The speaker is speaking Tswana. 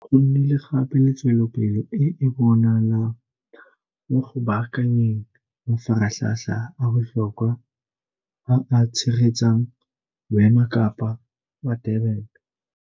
Go nnile gape le tswelopele e e bonalang mo go baakanyeng mafaratlhatlha a botlhokwa a a tshegetsang Boemakepe ba Durban.